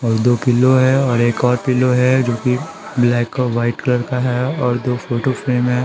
और दो पिलो है और एक और पिलो है जो कि ब्लैक और वाइट कलर का है और दो फोटो फ्रेम है।